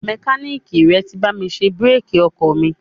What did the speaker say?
Mẹkáníìkì rẹ ti bá mi ṣe bírèkì ọkọ̀ mi.